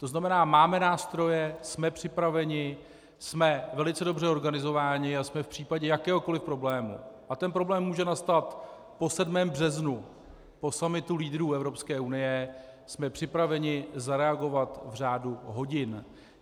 To znamená máme nástroje, jsme připraveni, jsme velice dobře organizováni a jsme v případě jakéhokoli problému, a ten problém může nastat po 7. březnu, po summitu lídrů Evropské unie, jsme připraveni zareagovat v řádu hodin.